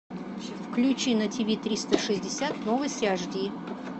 включи на тиви триста шестьдесят новости ашди